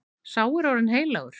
Sá er orðinn heilagur.